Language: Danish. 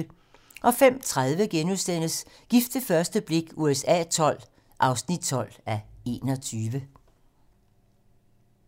05:30: Gift ved første blik USA XII (12:21)*